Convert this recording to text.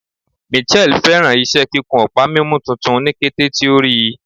Mitchelle fẹràn iṣẹ kikun ọpa mimu tuntun ni kete ti o rii